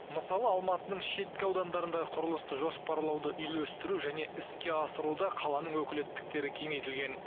мысалы алматының шеткі аудандарындағы құрылысты жоспарлауды үйлестіру және іске асыруда қаланың өкілеттіктері кеңейтілген